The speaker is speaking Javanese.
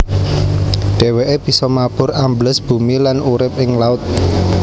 Dhèwèké bisa mabur ambles bumi lan urip ing laut